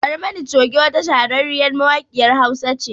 Barmani Choge wata shahararriyar mawaƙiyar Hausa ce